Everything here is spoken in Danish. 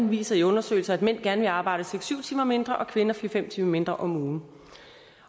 viser i undersøgelser at mænd gerne vil arbejde seks syv timer mindre og at kvinder fire fem timer mindre om ugen